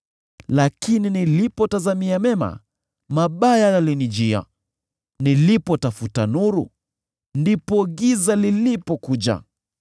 Lakini nilipotazamia mema, mabaya yalinijia; nilipotafuta nuru, ndipo giza lilipokuja.